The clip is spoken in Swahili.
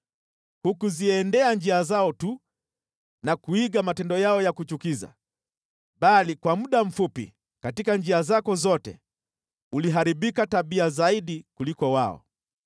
Hukuziendea njia zao tu na kuiga matendo yao ya kuchukiza, bali kwa muda mfupi katika njia zako zote uliharibika tabia zaidi kuliko wao.